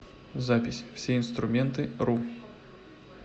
запись всеинструментыру